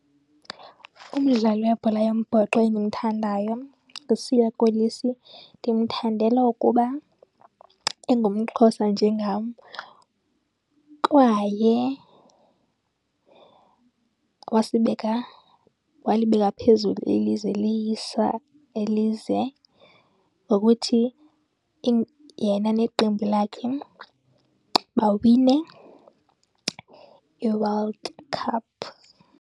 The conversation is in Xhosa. Umdlali webhola yombhoxo endimthandayo nguSiya Kolisi. Ndimthandela ukuba engumXhosa njengam kwaye wasibeka, walibeka phezulu ilizwe liyisa ilizwe ngokuthi yena neqembu lakhe bawine iWorld Cup.